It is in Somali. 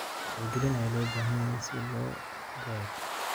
Wacyigelin ayaa loo baahan yahay si loo gaaro.